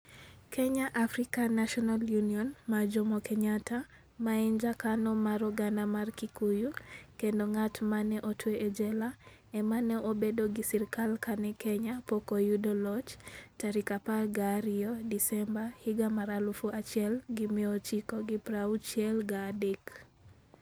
"Kenya African National Union (KANU) mar Jomo Kenyatta, ma en jakanyo mar oganda mar Kikuyu kendo ng'at ma ne otwe e jela, ema ne obedo gi sirkal kane Kenya pok oyudo loch tarik 12 Desemba, 1963.